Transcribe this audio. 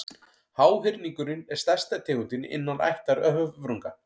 háhyrningurinn er stærsta tegundin innan ættar höfrunga